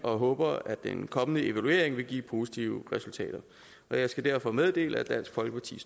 og håber at den kommende evaluering vil give positive resultater og jeg skal derfor meddele at dansk folkeparti